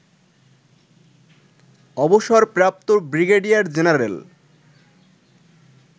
অবসরপ্রাপ্ত brigadier general